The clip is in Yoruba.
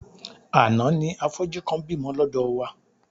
Àná ni afọ́jú kan bímọ lọ́dọ̀ wá.